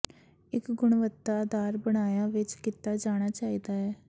ਇੱਕ ਗੁਣਵੱਤਾ ਅਧਾਰ ਬਣਾਇਆ ਵਿਚ ਕੀਤਾ ਜਾਣਾ ਚਾਹੀਦਾ ਹੈ